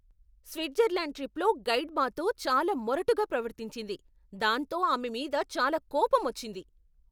Switzerland ట్రిప్లో guide మాతో చాలా మొరటుగా ప్రవర్తించింది, దాంతో ఆమె మీద చాలా కోపమొచ్చింది.